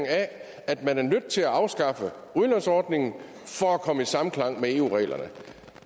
af at man er nødt til at afskaffe udlånsordningen for at komme i samklang med eu reglerne